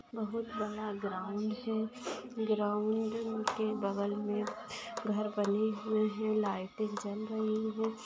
बहुत बड़ा ग्राउंड हैं ग्राउंड के बगल में घर बने हुए है लाइटें जल रही है।